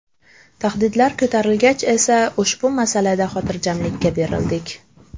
Tahdidlar ko‘tarilgach esa ushbu masalada xotirjamlikka berildik.